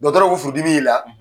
Dɔgɔtɔrɔ ko furu dimi y'i la,